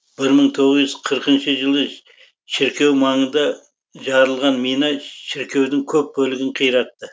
бір мың тоғыз жүз қырқыншы жылы шіркеу маңында жарылған мина шіркеудің көп бөлігін қиратты